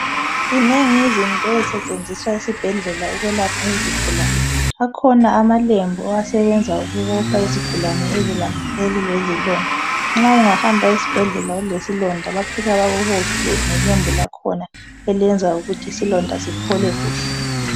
Zinengi izinto ezisetshenziswa esibhedlela ukwelapha izigulane , akhona amalembu asebenza ukubopha izigulane ezilonda , nxa ungahambi ezibhedlela ulesilonda bafika bakubophe ngelembu lakhona eliyenza ukuthi isilonda siphole kuhle